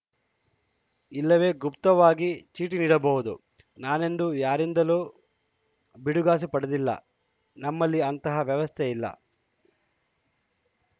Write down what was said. ಇಲ್ಲವೇ ಗುಪ್ತವಾಗಿ ಚೀಟಿ ನೀಡಬಹುದು ನಾನೆಂದೂ ಯಾರಿಂದಲೂ ಬಿಡಿಗಾಸು ಪಡೆದಿಲ್ಲ ನಮ್ಮಲ್ಲಿ ಅಂತಹ ವ್ಯವಸ್ಥೆ ಇಲ್ಲ